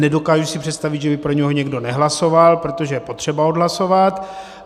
Nedokážu si představit, že by pro něj někdo nehlasoval, protože je potřeba odhlasovat.